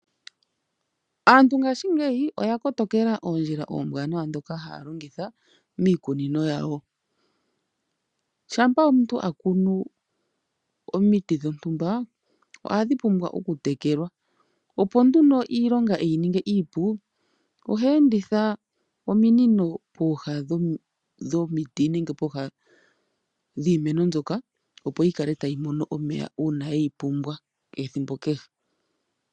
Aantu ngaashingeyi oya kotokela omikalo omiwanawa ndhono haya longitha miikunino yawo. Shampa omuntu a kunu omiti dhontumba ohadhi pumwa okutekelwa, opo nduno omuntu iilonga e yi ninge iipu, ohe enditha ominino pooha dhomiti nenge dhiimeno, opo yi kale tayi mono omeya ethimbo kehe ye ga pumbwa.